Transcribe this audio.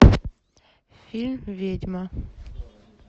фильм ведьма